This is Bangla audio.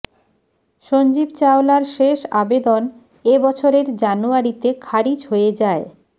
সঞ্জীব চাওলার শেষ আবেদন এ বছরের জানুয়ারিতে খারিজ হয়ে যায়